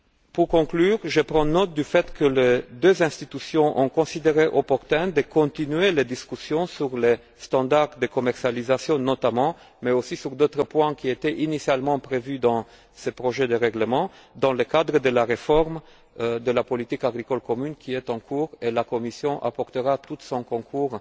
Pour conclure, je prends note du fait que les deux institutions ont estimé opportun de poursuivre les discussions sur les normes de commercialisation, notamment, mais aussi sur d'autres points qui étaient initialement prévus dans ce projet de règlement dans le cadre de la réforme de la politique agricole commune qui est en cours, et la Commission apportera tout son concours